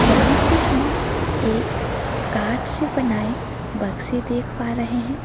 यहां पे हम एक कार्ड से बनाएं बक्से देख पा रहे हैं।